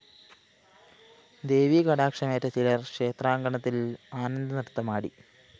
ദേവീകടാക്ഷമേറ്റ ചിലര്‍ ക്ഷേത്രാങ്കണത്തില്‍ ആനന്ദനൃത്തമാടി